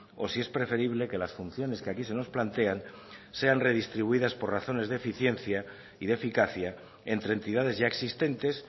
o si es preferible que las funciones que aquí se nos plantean sean redistribuidas por razones de eficiencia y de eficacia entre entidades ya existentes